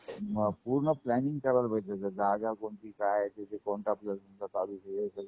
मग पूर्ण प्लानिंग करायला पाहिजे. जागा कोणती? काय तिथे कोणतं बिजनेस आपल्याला चालू करायचं हे सगळं